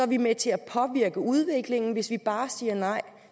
vi med til at påvirke udviklingen hvis vi bare siger nej